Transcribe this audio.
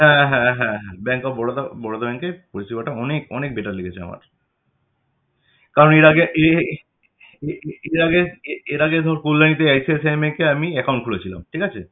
হ্যাঁ হ্যাঁ হ্যাঁ হ্যাঁ Bank of Baroda Baroda Bank এ পরিষেবা টা অনেক অনেক better লেগেছে আমার কারণ এর আগে এর আগে এর আগে ধর কল্যাণী তে ICICI তে আমি একটা account খুলেছিলাম ঠিক আছে?